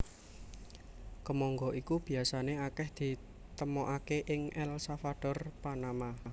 Kemangga iki biasané akèh ditemokaké ing El Salvador Panama